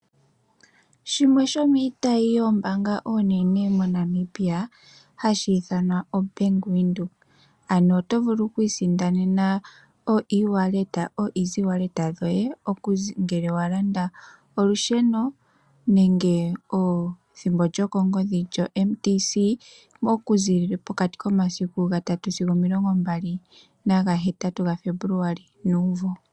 Shimwe shomiitayi iinene yoombaanga moNamibia hashi ithanwa o Bank Windhoek ano oto vulu oku isindanena oshimaliwa shomondjato ngele wa landa olusheno nenge ethimbo lyokongodhi lyoMTC okuza momasiku gaaali sigo omilongo mbali nahetatu Febuluali nuumvo.